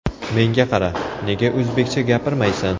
Menga qara, nega o‘zbekcha gapirmaysan?